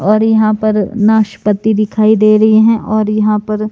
और यहां पर नाशपती दिखाई दे रही हैं और यहां पर--